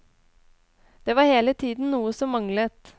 Det var hele tiden noe som manglet.